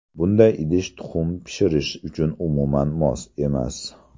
Bunday idish tuxum pishirish uchun umuman mos emas.